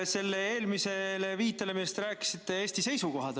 See eelmine viide, millest te rääkisite, Eesti seisukohad.